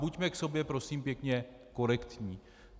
Buďme k sobě prosím pěkně korektní.